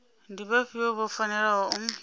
ndi vhafhio vho fanelaho u